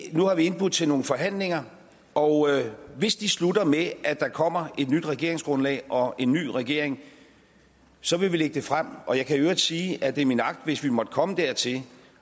nu har vi indbudt til nogle forhandlinger og hvis de slutter med at der kommer et nyt regeringsgrundlag og en ny regering så vil vi lægge det frem jeg kan i øvrigt sige at det er min agt hvis vi måtte komme dertil